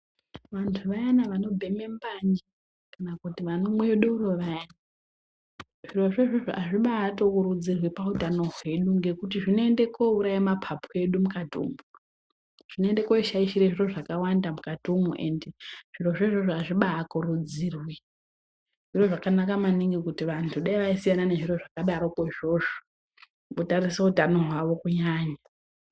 Vantu wayana wanobhemhe mbanje kana kuti wanomwe doro wayani zvirozvo izvozvo azvibatokurudzirwi pautano hwedu ngokuti zvinoende kouraya mapapu edu mukati umu. Zvinoende koshaishire zviro zvakawanda mukati umu ende zvirozvo izvozvo azvibaakurudzirwi. Zviro zvakanaka maningi kuti vantu dai waisiyana nezviro izvozvo wotarise utano hwavo kunyanya.